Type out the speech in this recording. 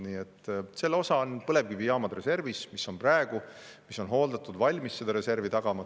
Nii et osa põlevkivijaamadest on reservis, need on praegu hooldatud ja valmis seda reservi tagama.